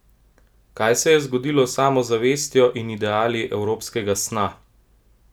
Kaj se je zgodilo s samozavestjo in ideali evropskega sna?